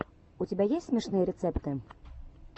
у тебя есть смешные рецепты